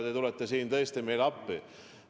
Te tulete siin tõesti meile appi.